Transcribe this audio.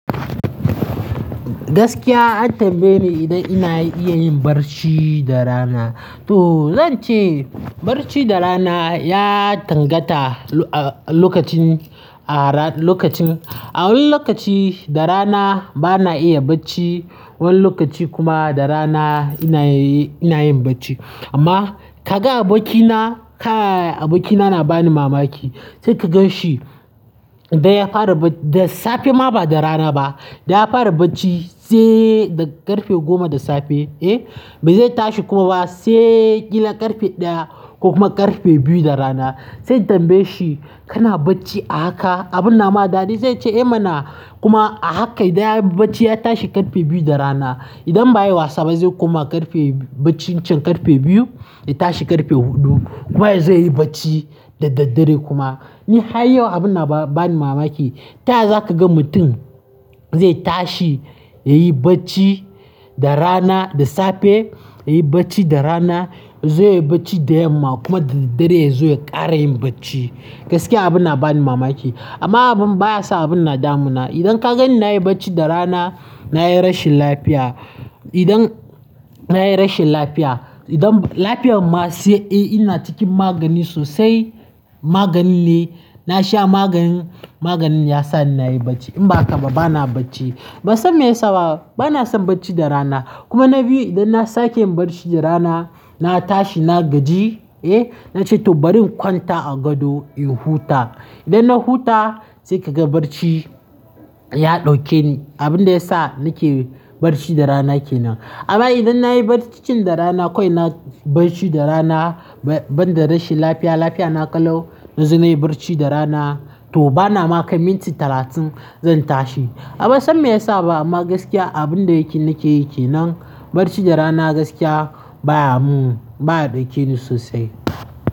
Gaskiya an tambaye ni idan ina iya yin barci da rana. To zan ce barci da rana ya dangata a lokacin, a wani lokaci da rana bana iya bacci. Wani lokaci kuma da rana ina yin bacci. Amma ka ga abokina, abokina yana bani mamaki. Sai ka gan shi da ya fara da safe ma ba da rana ba. Da ya fara bacci sai da ƙarfe goma na safe eh, bai zai tashi kuma ba sai ƙila ƙarfe ɗaya ko kuma ƙarfe biyu naa rana. Sai ka tambaye shi kana bacci a haka? Abun nama daɗi sai ya ce eh mana kuma a haka idan yayi bacci ya tashi ƙarfe biyu na rana. Idan ba, ayi wasa ba zai koma bacci ƙarfe biyu ya tashi ƙarfe huɗu kuma zai yi bacci da daddare kuma. Ni har yau abun na bani mamaki. Taya zaka ga mutum zai tashi yayi bacci da rana, da safe yayi bacci da rana, yazo ya yi bacci da yamma kuma da daddare ya zo ya ƙara yin bacci. Gaskiya abin na bani mamaki. Amma abun baya sa abin nadamu na. Idan ka ganni nayi bacci da rana, nayi rashin lafiya. Idan nayi rashin lafiya, idan bani lafiyar ma sai eh ina cikin magani sosai. Maganin da, na sha maganin, maganin yasa nayi bacci. In ba haka ba bana bacci. Ban san me yasa ba, bana son bacci da rana. Kuma na biyu idan na sake yin bacci da rana, na tashi na gaji eh, na ce to bari na kwanta a gado in huta. Idan na huta sai ka ga barci ya ɗauke ni. Abin da ya sa nake barci da rana kenan. Amma idan nayi bacci da rana kawai nayi bacci da rana banda rashin lafiya, lafiya na ƙalau na zo nayi barci da rana. To bana baka minti talatin zan tashi. Amma bansan me yasa ba, amma gaskiya abin da yake nake yi kenan bacci da rana gaskiya baya mun, baya ɗauke ni sosai.